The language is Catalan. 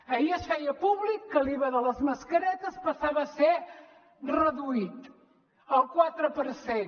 ahir es feia públic que l’iva de les mascaretes passava a ser reduït el quatre per cent